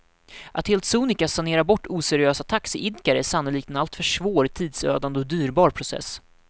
Att helt sonika sanera bort oseriösa taxiidkare är sannolikt en alltför svår, tidsödande och dyrbar process.